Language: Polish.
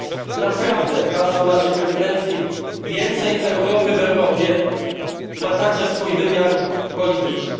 A więc naprawdę hasło naszej prezydencji Więcej Europy w Europie ma także swój wymiar polityczny.